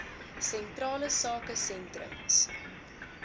sentrale sake sentrums